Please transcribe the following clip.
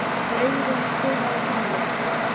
Auðrún, spilaðu tónlist.